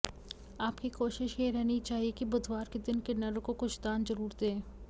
आपकी कोशिश ये रहनी चाहिए कि बुधवार के दिन किन्नरों को कुछ दान जरूर दें